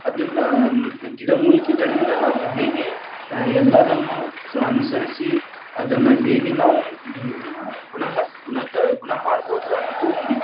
ಅದನ್ನ್‌ ಗಿಡಮೂಲಿಕೆಗಳಿಂದ ನಾವು ಹೀಗೆ ಆ ಎಲ್ಲಾದನ್ನು ಅನುಸರಿಸಿ, ಅದನ್ನ್‌ ಹೇಗೆ ನಾವು ಹ್ಮ್‌ ಗುಣಮಟ್ಟ ಗುಣತ ಗುಣಮಾಡಬೋದು ಅನ್ನೋದು ಒಂದ್‌ ಇತ್ತು.